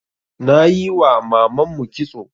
Nayiwa mamanmu kitso